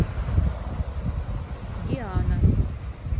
диана